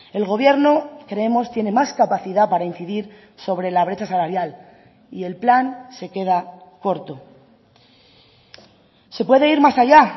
el gobierno creemos tiene más capacidad para incidir sobre la brecha salarial y el plan se queda corto se puede ir más allá